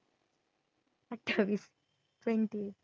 twenty आहे.